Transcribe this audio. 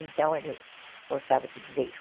Então, ele gostava de dizer isso.